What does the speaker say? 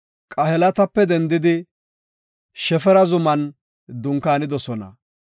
Qahelatape dendidi Shefara zuman dunkaanidosona.